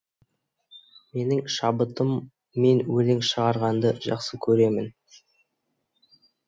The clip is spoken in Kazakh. менің шабытыммен өлең шығарғанды жақсы көремін